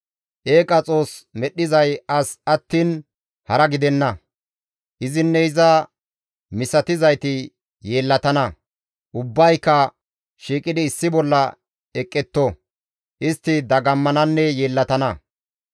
Eeqa xoos medhdhizay as attiin hara gidenna; izinne iza misatizayti yeellatana; ubbayka shiiqidi issi bolla eqqetto; istti dagammananne yeellatana.